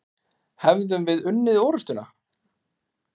Hefðum við unnið orustuna?